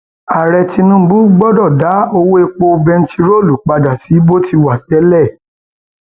ààrẹ tinubu gbọdọ dá owó epo bẹntiróòlù padà sí bó ti ṣẹ wá tẹlẹ